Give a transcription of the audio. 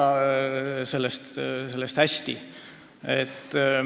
Ma ei arva sellest mõttest hästi.